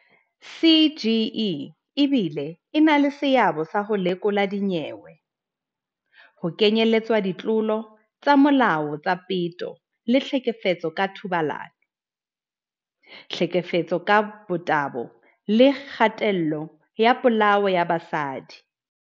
"CGE e bile e na le seabo sa ho lekola dinyewe, ho kenyeletswa ditlolo tsa molao tsa peto le ditlhekefetso ka thobalano, tlhekefetso ka motabo le kgatello le polao ya basadi."